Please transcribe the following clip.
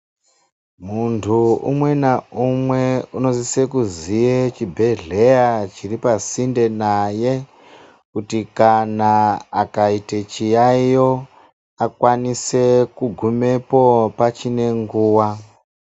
Muntu umwe naumwe unosisa kuziya chibhedhlera chiri pasinde naye kuti kana akaita chiyaiyo akwanise kugumepo machinenguva .